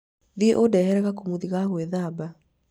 thiĩ ũndehere gakũmũthi ka gwĩthaba